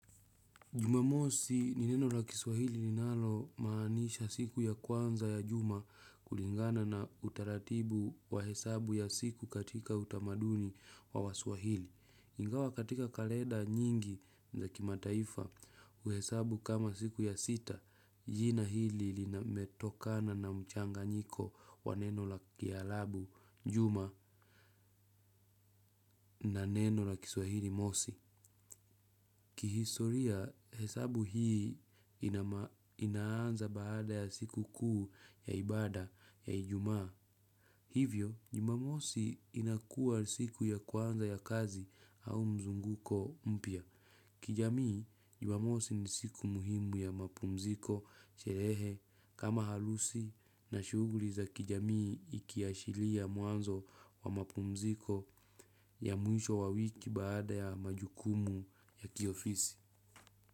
Jumamosi ni neno la kiswahili ninalomaanisha siku ya kwanza ya juma kulingana na utaratibu wa hesabu ya siku katika utamaduni wa waswahili. Ingawa katika kaleda nyingi za kimataifa uhesabu kama siku ya sita jina hili linametokana na mchanganyiko wa neno la kialabu, juma na neno la kiswahili mosi. Kihistoria, hesabu hii inaanza baada ya siku kuu ya ibada ya ijumaa. Hivyo, jumamosi inakua siku ya kwanza ya kazi au mzunguko mpya. Kijamii, jumamosi ni siku muhimu ya mapumziko sherehe kama halusi na shuguri za kijamii ikiashilia mwanzo wa mapumziko ya mwisho wa wiki baada ya majukumu ya kiofisi.